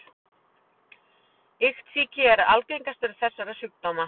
Iktsýki er algengastur þessara sjúkdóma.